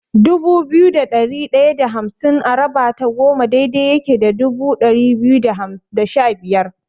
Dubu biyu da ɗari ɗaya da hamsin a raba ta goma daidai yake da ɗari biyu da shabiyar.